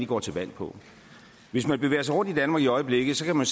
går til valg på hvis man bevæger sig rundt i danmark i øjeblikket kan man